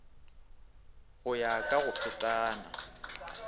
go ya ka go fetana